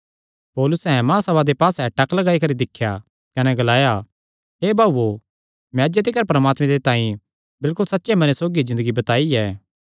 पौलुसैं महासभा दे पास्से टक लगाई करी दिख्या कने ग्लाया हे भाऊओ मैं अज्जे तिकर परमात्मे दे तांई बिलकुल सच्चे मने सौगी ज़िन्दगी बिताई ऐ